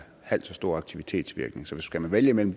halv så stor aktivitetsvirkning så skal man vælge imellem